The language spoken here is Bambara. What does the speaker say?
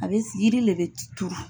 A bɛ yiri le bɛ turu.